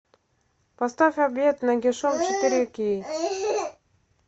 поставь обед нагишом четыре кей